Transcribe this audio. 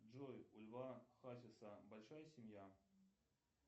джой у льва хасиса большая семья